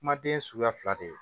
Kumaden ye suguya fila de ye